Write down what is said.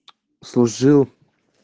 служил